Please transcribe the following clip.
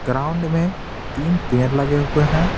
Ground मेंतीन पेर लगे हुए हैं।